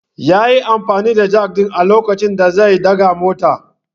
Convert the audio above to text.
Yayi amfani da Jak din a lokacin da zai daga motar.